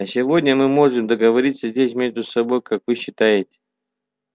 а сегодня мы можем договориться здесь между собой как вы считаете